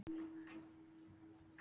Hvað er gefið í þessu?